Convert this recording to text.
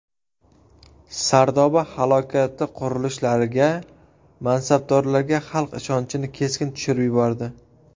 Sardoba halokati qurilishlarga, mansabdorlarga xalq ishonchini keskin tushirib yubordi.